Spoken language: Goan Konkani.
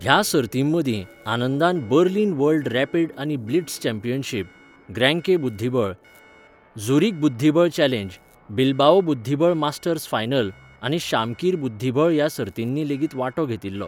ह्या सर्तीं मदीं, आनंदान बर्लिन वर्ल्ड रॅपिड आनी ब्लिट्झ चॅम्पियनशिप, ग्रेंके बुध्दिबळ, झुरिक बुध्दिबळ चॅलेंज, बिल्बाओ बुध्दिबळ मास्टर्स फायनल, आनी शामकीर बुध्दिबळ ह्या सर्तींनी लेगीत वांटो घेतिल्लो.